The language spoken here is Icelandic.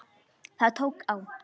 Það tók á.